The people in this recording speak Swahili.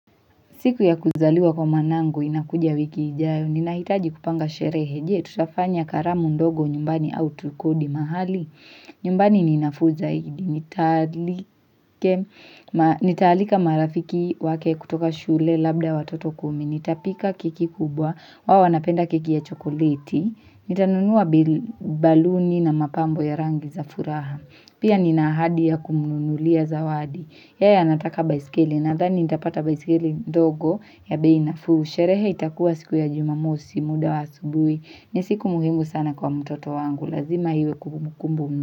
Siku ya kuzaliwa kwa mwanangu inakuja wiki ijayo, ninahitaji kupanga sherehe, je, tutafanya karamu ndogo nyumbani au tukodi mahali? Nyumbani ninafuu zaidi, nitaalika marafiki wake kutoka shule labda watoto kumi, nitapika keki kubwa, wao wanapenda keki ya chokoleti, nitanunua baluni na mapambo ya rangi za furaha, pia ninaahadi ya kumnunulia zawadi. Yeye anataka baisikeli nadhani nitapata baisikili ndogo ya bei nafuu. Sherehe itakuwa siku ya jumamosi muda wa asubuhi. Ni siku muhimu sana kwa mtoto wangu. Lazima iwe kumbukumbu.